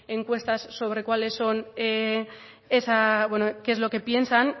encuestas sobre cuáles son esa bueno qué es lo que piensan